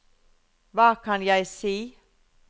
hva kan jeg si